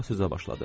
Marfa sözə başladı.